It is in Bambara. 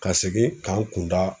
Ka segin k'an kunda